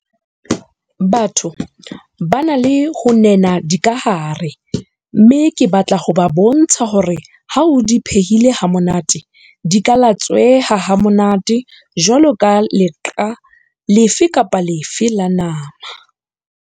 Batho ba na le ho nena dikahare mme ke batla ho ba bontsha hore ha o di phehile hantle, di ka latsweha ha monate jwaloka leqa lefe kapa lefe la nama.